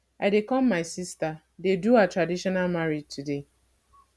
i dey come my sister dey do her traditional marriage today